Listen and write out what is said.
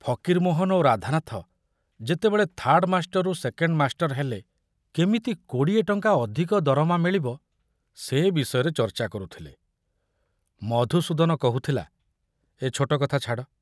ଫକୀରମୋହନ ଓ ରାଧାନାଥ ଯେତେବେଳେ ଥାର୍ଡ ମାଷ୍ଟରରୁ ସେକେଣ୍ଡ ମାଷ୍ଟର ହେଲେ କେମିତି କୋଡି଼ଏ ଟଙ୍କା ଅଧିକ ଦରମା ମିଳିବ ସେ ବିଷୟରେ ଚର୍ଚ୍ଚା କରୁଥିଲେ, ମଧୁସୂଦନ କହୁଥିଲା, ଏ ଛୋଟ କଥା ଛାଡ଼।